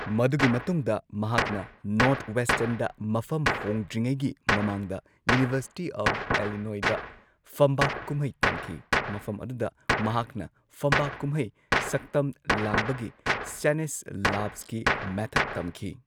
ꯃꯗꯨꯒꯤ ꯃꯇꯨꯡꯗ ꯃꯍꯥꯛꯅ ꯅꯣꯔꯊꯋꯦꯁꯇꯔꯟꯗ ꯃꯐꯝ ꯍꯣꯡꯗ꯭ꯔꯤꯉꯩꯒꯤ ꯃꯃꯥꯡꯗ ꯌꯨꯅꯤꯚꯔꯁꯤꯇꯤ ꯑꯣꯐ ꯑꯦꯂꯤꯅꯣꯢꯗ ꯐꯝꯕꯥꯛ ꯀꯨꯝꯍꯩ ꯇꯝꯈꯤ, ꯃꯐꯝ ꯑꯗꯨꯗ ꯃꯍꯥꯛꯅ ꯐꯝꯕꯥꯛ ꯀꯨꯝꯍꯩ ꯁꯛꯇꯝ ꯂꯥꯡꯕꯒꯤ ꯁ꯭ꯇꯦꯅꯤꯁꯂꯥꯕꯁꯀꯤ ꯃꯦꯊꯗ ꯇꯝꯈꯤ꯫